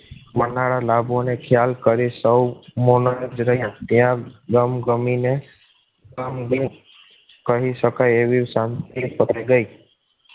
મળનારા લાભો ને ખ્યાલ કરી સૌ મોન જ રહ્યા ગમ ગમીને કહી શકાય એવી શાંતિ પડી ગઈ